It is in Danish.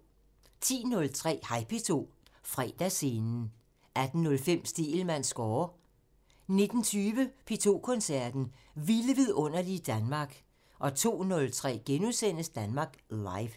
10:03: Hej P2 – Fredagsscenen 18:05: Stegelmanns score 19:20: P2 Koncerten – Vilde vidunderlige Danmark 02:03: Danmark Live *